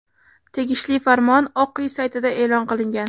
Tegishli farmon Oq uy saytida e’lon qilingan.